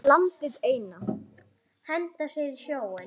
Landið eina.